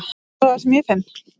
Finnurðu það sem ég finn?